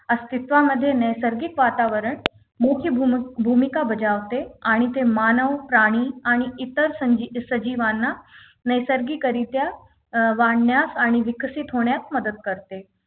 अस्तित्वामध्ये नैसर्गिक वातावरण मुख्य भूमी भूमिका बजावते आणि ते मानव प्राणी आणि इतर संजी सजीवांना नैसर्गिक रित्या वाढण्यास आणि विकसित होण्यास मदत करते